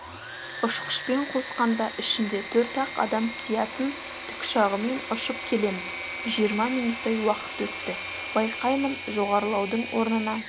ұшқышпен қосқанда ішінде төрт-ақ адам сиятын тікұшағымен ұшып келеміз жиырма минуттай уақыт өтті байқаймын жоғарылаудың орнына